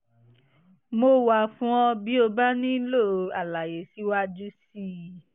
mo wà fún ọ bí o bá nílò àlàyé síwájú sí i